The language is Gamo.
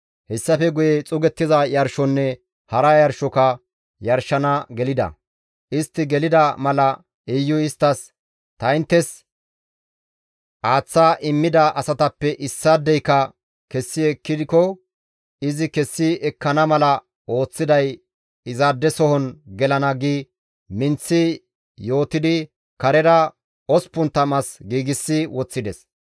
Hessafe guye xuugettiza yarshonne hara yarshoka yarshana gelida; istti gelida mala Iyuy isttas, «Ta inttes aaththa immida asatappe issaadeyka kessi ekkiko izi kessi ekkana mala ooththiday izaadesohon gelana» gi minththi yootidi karera 80 as giigsi woththides.